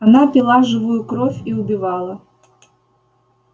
она пила живую кровь и убивала